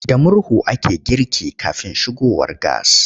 Da murhu ake girki kafin shigowar gas.